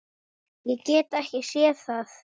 Ég get ekki séð það.